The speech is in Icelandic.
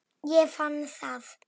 Ég fann það!